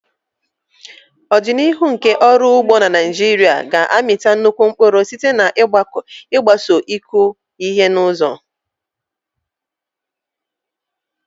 Ọdịnihu nke ọrụ ugbo na Naijiria ga-amịta nnukwu mkpụrụ site n'ịgbaso ịkụ ihe n'ụzọ.